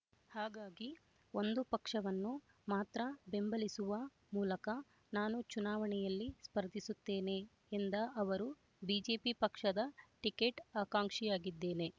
ಹಾಗಾಗಿ ಒಂದು ಪಕ್ಷವನ್ನು ಮಾತ್ರ ಬೆಂಬಲಿಸುವ ಮೂಲಕ ನಾನು ಚುನಾವಣೆಯಲ್ಲಿ ಸ್ಪರ್ಧಿಸುತ್ತೇನೆ ಎಂದ ಅವರು ಬಿಜೆಪಿ ಪಕ್ಷದ ಟಿಕೆಟ್ ಆಕಾಂಕ್ಷಿಯಾಗಿದ್ದೇನೆ